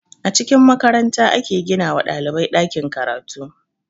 A cikin makaranta ake gina wa ɗalibai ɗakin karatu